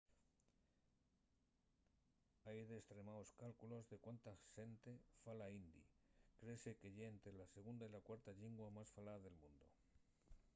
hai destremaos cálculos de cuánta xente fala hindi créese que ye ente la segunda y la cuarta llingua más falada del mundu